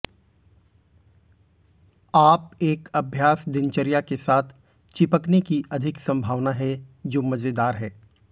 आप एक अभ्यास दिनचर्या के साथ चिपकने की अधिक संभावना है जो मजेदार है